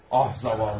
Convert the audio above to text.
Ah, zavallı ya.